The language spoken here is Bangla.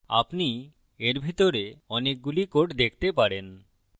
আপনি এর ভিতরে অনেকগুলি code দেখতে পারেন